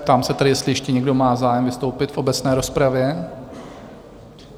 Ptám se tedy, jestli ještě někdo má zájem vystoupit v obecné rozpravě?